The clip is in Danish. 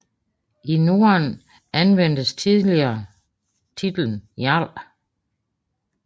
I Norden anvendtes tidligere titlen jarl